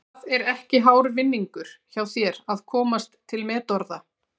Það er ekki hár vinningur hjá þér að komast til metorða.